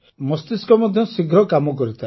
ମସ୍ତିଷ୍କ ମଧ୍ୟ ଶୀଘ୍ର କାମ କରିଥାଏ